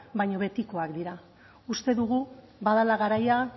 baino betikoak dira uste dugu badela garaia